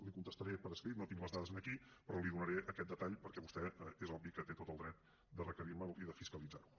li ho contestaré per escrit no tinc les dades aquí però li donaré aquest detall perquè vostè és obvi que té tot el dret de requerirme’l i de fiscalitzarho